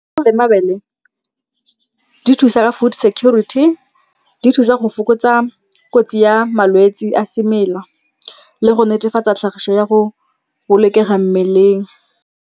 Le mabele di thusa ka food security, di thusa go fokotsa kotsi ya malwetse a semela le go netefatsa tlhagiso ya go bolokega mmeleng.